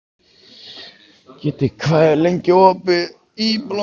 Kiddi, hvað er lengi opið í Blómaborg?